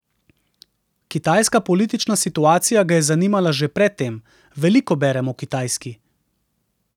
Kitajska politična situacija ga je zanimala že pred tem: 'Veliko berem o Kitajski.